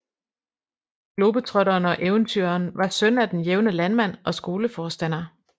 Globetrotteren og eventyreren var søn af den jævne landmand og skoleforstander